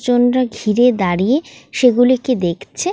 Genre ঘিরে দাঁড়িয়ে সেগুলিকে দেখছে-এ।